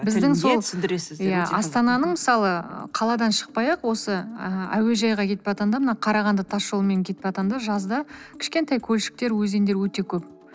астананың мысалы қаладан шықпай ақ осы ы әуежайға кетіп баратқанда мына қарағанды тас жолымен кетып баратқанда жазда кішкентай көлшіктер өзендер өте көп